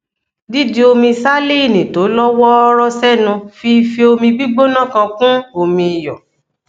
dídi omi salíìnì tó lọ wọọrọ sẹnu fi ife omi gbígbóná kan kún omi iyọ